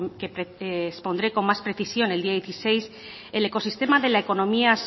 que expondré con más precisión el día dieciséis el ecosistema de la economía